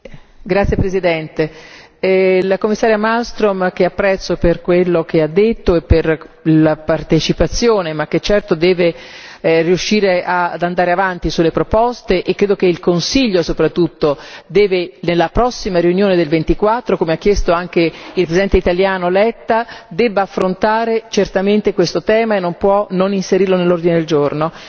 Signora Presidente, onorevoli colleghi, la Commissaria Malmström, che apprezzo per quello che ha detto e per la partecipazione ma che, certo, deve riuscire ad andare avanti sulle proposte e credo che il Consiglio, soprattutto, nella prossima riunione del 24 come ha chiesto il Presidente italiano Letta debba affrontare certamente questo tema e non può non inserirlo nell'ordine del giorno.